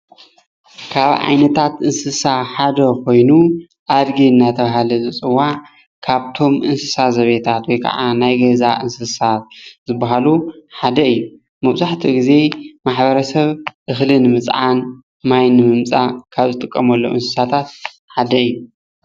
ካብ ዓይነታት እንስሳ ሓደ ኮይኑ ኣድጊ እናተባሃለ ዝፅዋዕ ፡፡ካብቶም እንስሳ ዘቤታት ወይ ከዓ ናይ ገዛ እንስሳ ዝበሃሉ ሓደ እዩ፡፡ መብዛሕትኡ ግዜ ማሕበረሰብ እክሊ ንምፅዓን፣ ማይ ንምምፃእ ካብ ዝጥቀመሎም እንስሳታት ሓደ እዩ፡፡